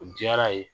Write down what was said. O diyara ye